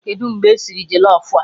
Kedụ mgbe esiri jọlọf a?